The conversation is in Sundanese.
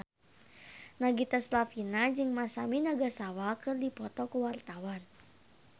Nagita Slavina jeung Masami Nagasawa keur dipoto ku wartawan